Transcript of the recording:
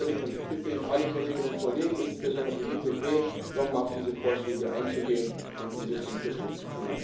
Deswegen fordere ich und bitte ich alle Kolleginnen und Kollegen, insbesondere die EVP, noch mal auf diese Vorschläge einzugehen und diese zu unterstützen.